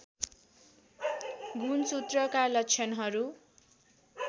गुणसूत्रका लक्षणहरू